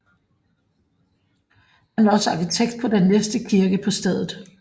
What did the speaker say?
Han var også arkitekt på den næste kirke på stedet